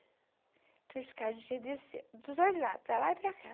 Tinha uma escadinha de dos dois lados, para lá e para cá.